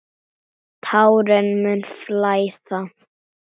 Tárin munu flæða.